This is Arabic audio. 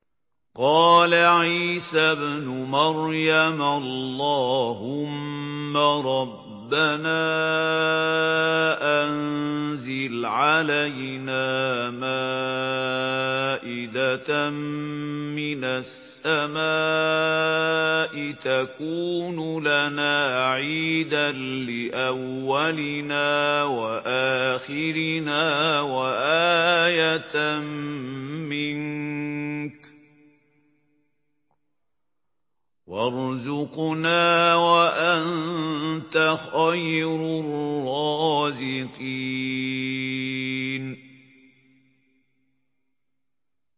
قَالَ عِيسَى ابْنُ مَرْيَمَ اللَّهُمَّ رَبَّنَا أَنزِلْ عَلَيْنَا مَائِدَةً مِّنَ السَّمَاءِ تَكُونُ لَنَا عِيدًا لِّأَوَّلِنَا وَآخِرِنَا وَآيَةً مِّنكَ ۖ وَارْزُقْنَا وَأَنتَ خَيْرُ الرَّازِقِينَ